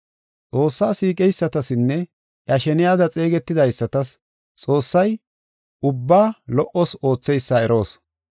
Xoossaa siiqeysatasinne iya sheniyada xeegetidaysatas Xoossay ubbaa lo77os ootheysa eroos.